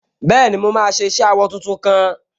Bẹ́ẹ̀ni, mo máa ṣe iṣẹ awọ tuntun kan